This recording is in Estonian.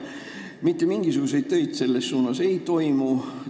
Mitte mingisuguseid töid selle nimel aga ei toimu.